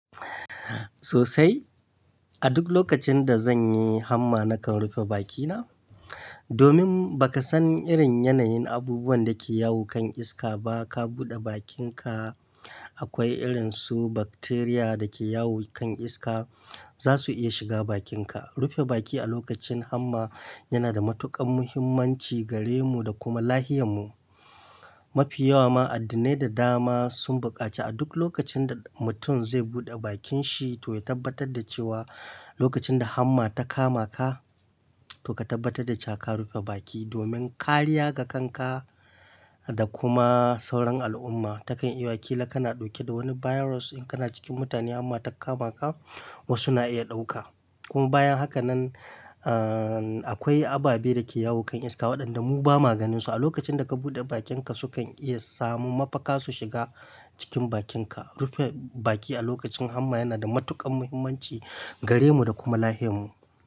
Sosai, a duk lokacin da zan yi hamma nakan rufe bakina. Domin ba ka san irin yanayin abubuwan da ke yawo kan iska ba, ka buɗe bakinka akwai irin su bacteria da ke yawo kan iska za su iya shiga bakinka. Rufe baki a lokacin hamma yana da matuƙar muhimmanci gare mu da kuma lafiyarmu. Mafi yawa ma addinai da dama sun buƙaci a duk lokacin da mutum zai buɗe bakin shi to ya tabbatar da cewa lokacin da hamma ta kama ka to ka tabbatar da ka rufe baki domin kariya ga kanka da kuma sauran al'umma. Takan iya ƙila kana ɗauke da wani virus in kana cikin mutane amma ta kama ka wasu na iya ɗauka. Kuma bayan haka nan, ahhh, akwai ababe da ke yawo kan iska waɗanda mu ba ma ganin su. A lokacin da ka buɗe bakinka su kan iya samu mafaka su shiga cikin bakinka. Rufe baki a lokacin hamma yana da matuƙar muhimmanci gare mu da kuma lafiyarmu.